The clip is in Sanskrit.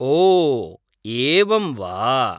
ओ, एवं वा?